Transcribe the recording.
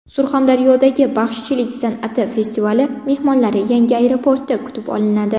Surxondaryodagi baxshichilik san’ati festivali mehmonlari yangi aeroportda kutib olinadi.